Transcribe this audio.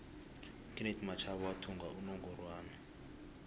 ukenethi mashaba wathumba inongorwana